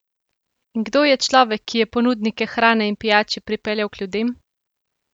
In kdo je človek, ki je ponudnike hrane in pijače pripeljal k ljudem?